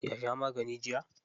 Ya sha magani jiya.